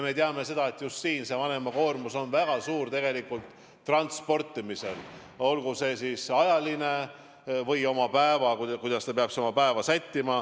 Me teame, et siin on vanema koormus väga suur tegelikult just transportimisel – olgu siis tegemist ajalise kuluga või sellega, kuidas ta peab oma päeva sättima.